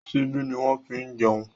Ṣíbí ni wọ́n fi ní jẹun.